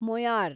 Moyar